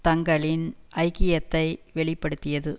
தங்களின் ஐக்கியத்தை வெளி படுத்தியது